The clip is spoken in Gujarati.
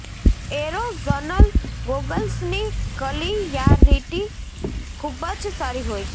એરોઝનલ ગોગલ્સની કલીયારીટી ખુબ જ સારી હોય છે